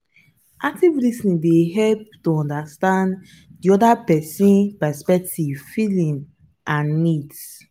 active lis ten ing dey help to understand di oda person's perspective feelings and needs.